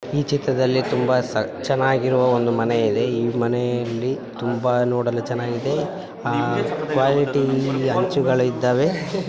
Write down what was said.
ಈ ಚಿತ್ರದಲ್ಲಿ ತುಂಬಾ ಸ ಚೆನ್ನಗಿರೋ ಒಂದು ಮನೆಯಿದೆ ಈ ಮನೆಯಲ್ಲಿ ತುಂಬಾ ನೋಡಲು ಚೆನ್ನಾಗಿದೆ ಕ್ವಾಲಿಟಿ ಹಂಚುಗಳಿದ್ದವೆ.